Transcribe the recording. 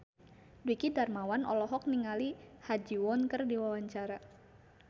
Dwiki Darmawan olohok ningali Ha Ji Won keur diwawancara